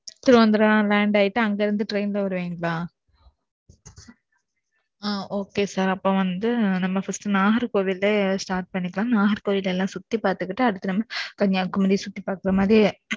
Thiruvananthapuram land ஆயிட்டு அங்க இருந்து train ல வருவீங்களா? okay sir அப்ப வந்து, நம்ம first, நாகர்கோவில்ல, start பண்ணிக்கலாம். நாகர்கோவில், எல்லாம் சுத்தி பார்த்துக்கிட்டு, அடுத்து நம்ம, கன்னியாகுமரி சுத்தி பாக்குற மாதிரி.